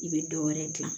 I bɛ dɔ wɛrɛ dilan